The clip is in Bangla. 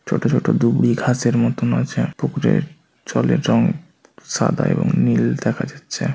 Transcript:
ছোট ছোট ডুবরী ঘাসের মতন আছে পুকুরের জলের রং সাদা এবং নীল দেখা যাচ্ছে।